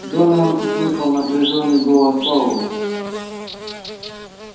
донован услышал напряжённый голос пауэлла